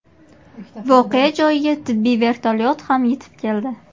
Voqea joyiga tibbiy vertolyot ham yetib keldi.